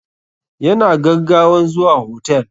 Ya na gaggawan zuwa hotel.